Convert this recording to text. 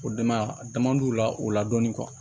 O dama dama d'u la o la dɔɔnin